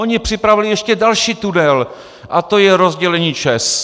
Oni připravili ještě další tunel, a to je rozdělení ČEZ.